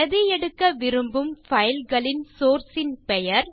பிரதி எடுக்க விரும்பும் பைல்ஸ் ன் சோர்ஸ் ன் பெயர்